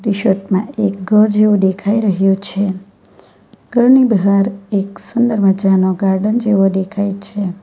એક ઘર જેવું દેખાઈ રહ્યુ છે ઘરની બહાર એક સુંદર મજાનો ગાર્ડન જેવો દેખાય છે.